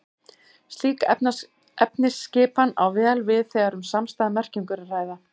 Slík efnisskipan á vel við þegar um samstæða merkingu er að ræða.